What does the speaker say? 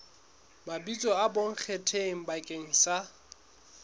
mabitso a bonkgetheng bakeng sa